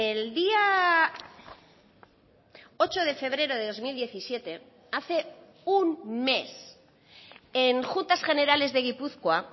el día ocho de febrero de dos mil diecisiete hace un mes en juntas generales de gipuzkoa